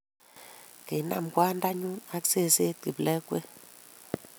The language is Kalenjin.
kinaam kwandanyu ak sesenyi kiplengwet